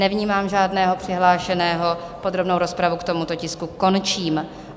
Nevnímám žádného přihlášeného, podrobnou rozpravu k tomuto tisku končím.